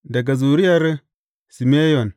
Daga zuriyar Simeyon.